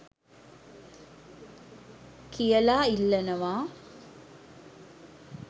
කියලා ඉල්ලනවා